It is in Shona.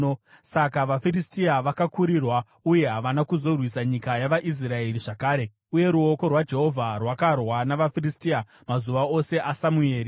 Saka vaFiristia vakakurirwa uye havana kuzorwisa nyika yavaIsraeri zvakare. Uye ruoko rwaJehovha rwakarwa navaFiristia mazuva ose aSamueri.